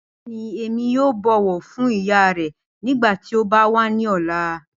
Bẹẹni, Emi yoo bọwọ fun iya rẹ nigbati o ba wa ni ọla.